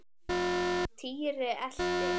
Týri elti.